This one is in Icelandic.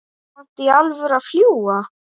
Kanntu í alvöru að fljúga?